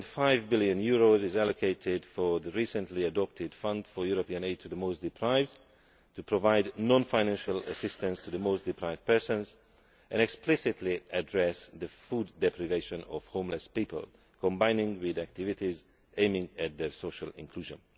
3.5 billion has been allocated to the recently adopted Fund for European Aid to the Most Deprived to provide non financial assistance to the most deprived people and explicitly address the food deprivation of homeless people, combined with activities aimed at their social inclusion.